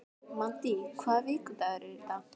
Maddý, hvaða vikudagur er í dag?